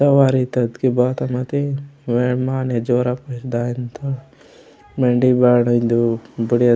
ओ वायरितोत की बाता मति वेंड माने झोरा पोय दायमुत्तोर वेंडे ईबाड़ इदु बुड़िया।